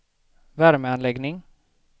värmeanläggning